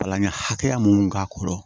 Kalan ɲɛ hakɛya mun k'a kɔrɔ